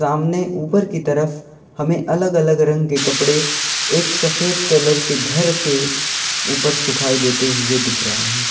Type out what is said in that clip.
सामने ऊपर की तरफ हमें अलग अलग रंग के कपड़े एक सफेद कलर के घर के ऊपर सुखाई देते हुए दिख रहे हैं।